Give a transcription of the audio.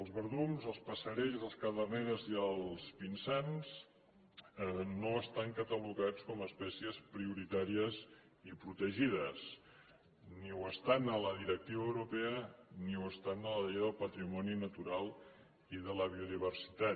els verdums els passerells les caderneres i el pinsans no estan catalogats com a espècies prioritàries i protegides ni ho estan a la directiva europea ni ho estan a la llei del patrimoni natural i de la biodiversitat